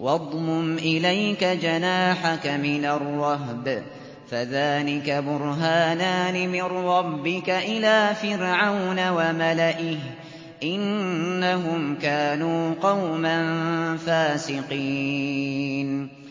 وَاضْمُمْ إِلَيْكَ جَنَاحَكَ مِنَ الرَّهْبِ ۖ فَذَانِكَ بُرْهَانَانِ مِن رَّبِّكَ إِلَىٰ فِرْعَوْنَ وَمَلَئِهِ ۚ إِنَّهُمْ كَانُوا قَوْمًا فَاسِقِينَ